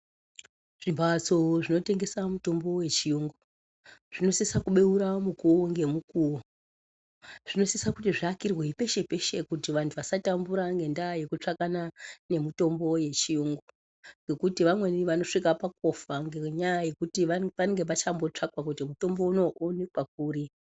Zvimbatso zvinotengesa mitombo yechiyungu zvinosisa kubeura mukuvo ngemukuvo. Zvinosisa kuti zvivakirwe peshe-peshe kuti vantu vasatambura ngendaa yekutsvakana ngendaa yemutombo yechiyungu. Ngokuti vamweni vanosvika pakutofa ngenyaya yekuti panenge pachambotsvakwa kuti mutombo unouyu vovanikwa kuri.